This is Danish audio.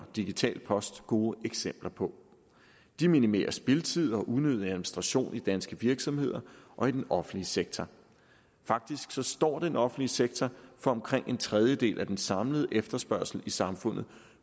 digital post gode eksempler på de minimerer spildtid og unødig administration i danske virksomheder og i den offentlige sektor faktisk står den offentlige sektor for omkring en tredjedel af den samlede efterspørgsel i samfundet